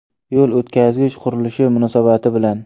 Yo‘l o‘tkazgich qurilishi munosabati bilan.